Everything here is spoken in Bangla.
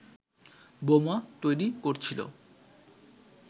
বোমা তৈরি করছিল